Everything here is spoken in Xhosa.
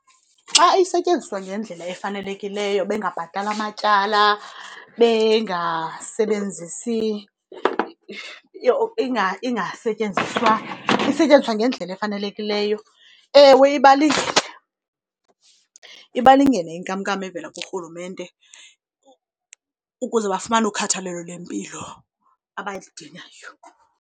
Xa isetyenziswa ngendlela efanelekileyo bengabhatali amatyala, bengasebenzisi , ingasetyenziswa, isetyenziswa ngendlela efanelekileyo, ewe ibalingene. Ibalingene inkamnkam evela kuRhulumente ukuze bafumane ukhathalelo lwempilo abalidingayo.